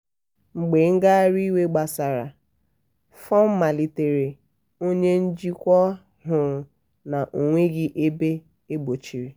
mgbe ngagharị iwe gbasara fọm malitere onye njikwa hụrụ na ọ nweghị ebe egbochiri.